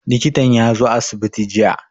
Likitan ya zo asibiti jiya.